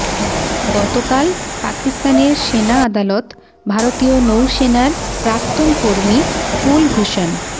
গতকাল পাকিস্তানের সেনা আদালত ভারতীয় নৌসেনার প্রাক্তন কর্মী কুলভূষণ